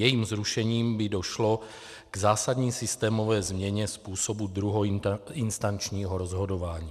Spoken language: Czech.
Jejím zrušením by došlo k zásadní systémové změně způsobu druhoinstančního rozhodování.